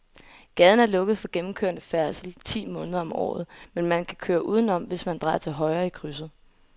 Gaden er lukket for gennemgående færdsel ti måneder om året, men man kan køre udenom, hvis man drejer til højre i krydset.